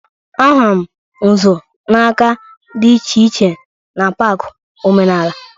A hụrụ m nzu n'nka dị iche iche n'pak omenala